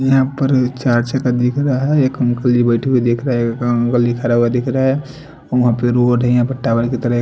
यहाँ पर दिख रहा है एक अंकल जी बैठे हुए दिख रहा है एक अंकल जी खड़ा हुआ दिख रहा है र वहां पे रोड है यहाँ पर टावर की तरह--